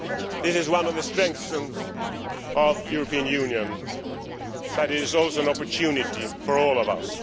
This is one of the strengths of the European Union, but it is also an opportunity for all of us.